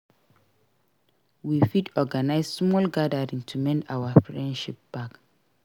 We fit organize small gathering to mend our friendship back.